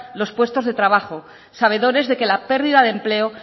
los puestos de trabajo sabedores de que la pérdida de empleo